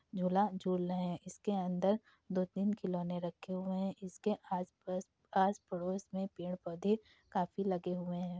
जुला जुल रहे इसके अंदर दो तीन खिलोने रखे हुए हैं। इसके आस पास आस पड़ोस में पेड़ पौधे काफी लगे हुए हैं।